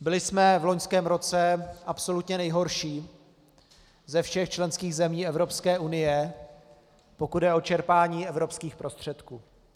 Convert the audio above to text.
Byli jsme v loňském roce absolutně nejhorší ze všech členských zemí Evropské unie, pokud jde o čerpání evropských prostředků.